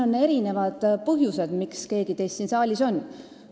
On erinevad põhjused, miks keegi teist siin saalis on.